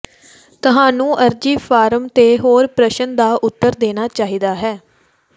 ਤੁਹਾਨੂੰ ਅਰਜ਼ੀ ਫਾਰਮ ਤੇ ਹਰ ਪ੍ਰਸ਼ਨ ਦਾ ਉੱਤਰ ਦੇਣਾ ਚਾਹੀਦਾ ਹੈ